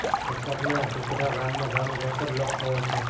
વલસાડના તિઘરા ગામમાં જવાનો રસ્તો બ્લોક થયો છે